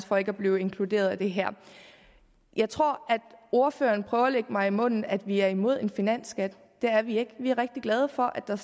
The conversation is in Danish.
for ikke at blive inkluderet i det her jeg tror at ordføreren prøver at lægge mig det i munden at vi er imod en finansskat det er vi ikke vi er rigtig glade for at der